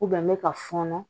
n bɛ ka fɔnɔ